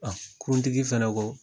A kuruntigi fana ko